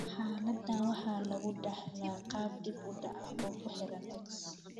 Xaaladdan waxaa lagu dhaxlaa qaab dib u dhac ah oo ku xiran X.